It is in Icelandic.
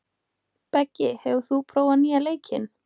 Beggi, hefur þú prófað nýja leikinn?